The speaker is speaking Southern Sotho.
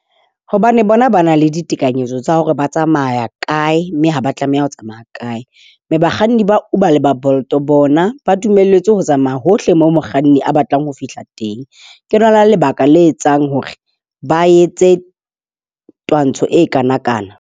Hobane bona ba na le ditekanyetso tsa hore ba tsamaya kae, mme ha ba tlameha ho tsamaya kae. Mme bakganni ba Uber le ba Bolt bona ba dumelletswe ho tsamaya hohle moo mokganni a batlang ho fihla teng. Ke lona lebaka le etsang hore ba etse twantsho e kanakana.